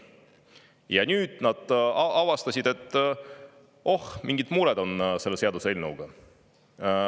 Ja nüüd nad avastasid, et oh, mingid mured on selle seaduseelnõuga.